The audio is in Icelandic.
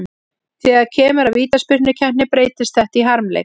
Þegar kemur að vítaspyrnukeppni breytist þetta í harmleik.